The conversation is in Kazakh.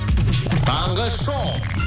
таңғы шоу